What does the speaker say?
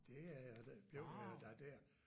Det er jeg det blev jeg da der